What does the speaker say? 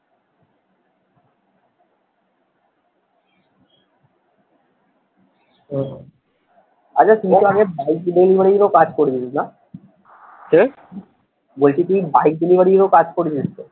আচ্ছা তুই বল আগে বাইক delivery র ও কাজ করেছিস না কি? বলছি তুই বাইক delivery র ও কাজ করেছিস তো?